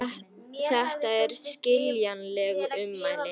Þetta eru skiljanleg ummæli